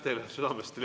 Aitäh teile südamest!